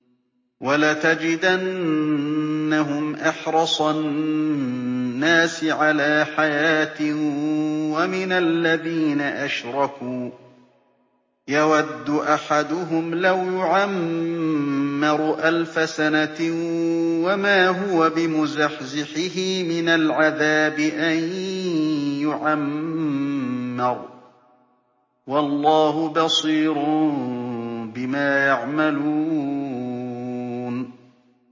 وَلَتَجِدَنَّهُمْ أَحْرَصَ النَّاسِ عَلَىٰ حَيَاةٍ وَمِنَ الَّذِينَ أَشْرَكُوا ۚ يَوَدُّ أَحَدُهُمْ لَوْ يُعَمَّرُ أَلْفَ سَنَةٍ وَمَا هُوَ بِمُزَحْزِحِهِ مِنَ الْعَذَابِ أَن يُعَمَّرَ ۗ وَاللَّهُ بَصِيرٌ بِمَا يَعْمَلُونَ